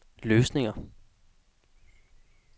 løsninger